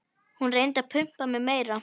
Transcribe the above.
Hún reyndi að pumpa mig meira.